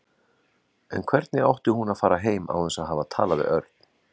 En hvernig átti hún að fara heim án þess að hafa talað við Örn?